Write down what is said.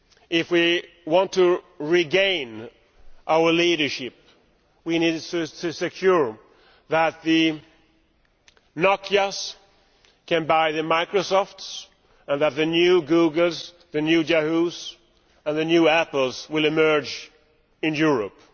If we want to regain our leadership, we need to secure that the Nokias can buy the Microsofts and that the new Googles, the new Yahoos and the new Apples emerge in Europe.